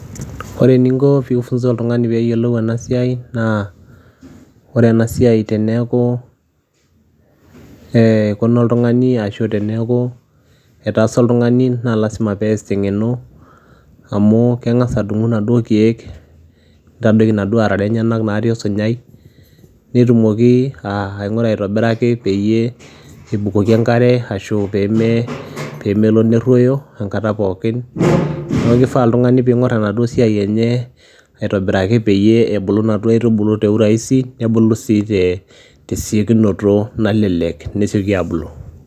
Ore eninko pi funza oltung'ani peyiolou enasiai, naa ore enasiai teneeku eikuna oltung'ani ashu teneeku etaasa oltung'ani, na lasima pees teng'eno, amu keng'asa adung'u naduo keek, nitadoki naduo arara enyanak natii osunyai, netumoki aing'ura aitobiraki peyie ebukoki enkare ashu pemelo nerruoyo enkata pookin. Neeku kifaa oltung'ani ping'or enaduo siai enye aitobiraki peyie ebulu inaduo aitubulu te urahisi ,nebulu si tesiokinoto nalelek nesioki abulu.